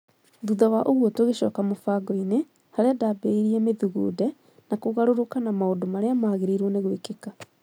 thutha wa ũguo tũgĩcoka mũbangoinĩ, harĩa ndambĩrĩirie Mĩthugunde ya kũgarũrũka na maũndũ marĩa magĩrĩirũo nĩ gwĩkĩka